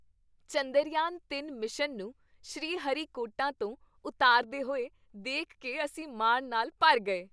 ਚੰਦਰਯਾਨ ਤਿੰਨ ਮਿਸ਼ਨ ਨੂੰ ਸ਼੍ਰੀਹਰੀਕੋਟਾ ਤੋਂ ਉਤਾਰਦੇਹੋਏ ਦੇਖ ਕੇ ਅਸੀਂ ਮਾਣ ਨਾਲ ਭਰ ਗਏ